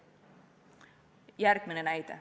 Järgmine näide.